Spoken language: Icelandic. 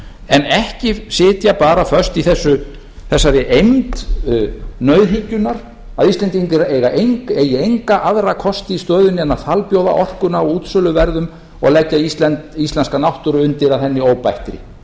en ekki sitja bara föst í þessari eymd nauðhyggjunnar að íslendingar eigi enga aðra kosti í stöðunni en að falbjóða orkuna á útsöluverði og leggja íslenska náttúru undir að henni óbættri hún